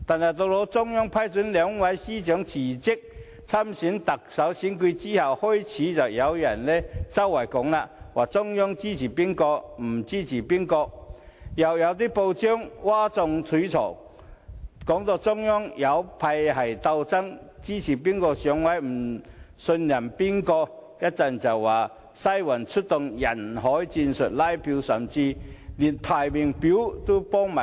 可是，在中央批准兩位司長辭職參加特首選舉後，便開始有人散播消息，指中央支持甲而不支持乙，更有報章譁眾取寵，指中央有派系鬥爭，支持誰上位和不信任誰，然後又說"西環"出動人海戰術拉票，甚至替某人填寫提名表。